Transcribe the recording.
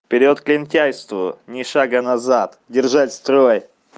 вперёд к лентяйству ни шага назад держать строй